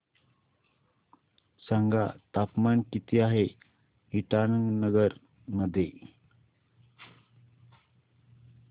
सांगा तापमान किती आहे इटानगर मध्ये